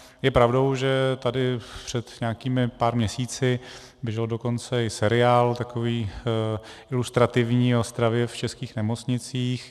Je pravdou, že tady před nějakými pár měsíci běžel dokonce i seriál takový ilustrativní o stravě v českých nemocnicích.